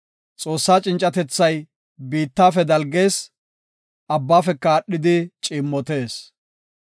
Xoossaa cincatethay biittafe dalgees; abbafeka aadhidi ciimmotees.